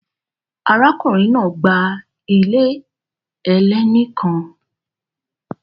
Arákùnrin náà gba ilé ẹlẹ́ni kan